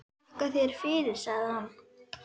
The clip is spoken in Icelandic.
Þakka þér fyrir, segir hann.